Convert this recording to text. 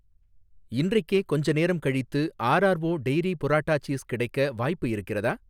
இன்றைக்கே கொஞ்சம் நேரம் கழித்து R R O dairy burrata cheese கிடைக்க வாய்ப்பு இருக்கிறதா?